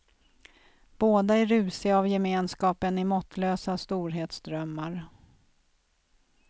Båda är rusiga av gemenskapen i måttlösa storhetsdrömmar.